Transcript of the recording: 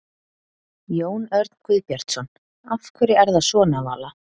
Jón Örn Guðbjartsson: Af hverju er það svona Vala?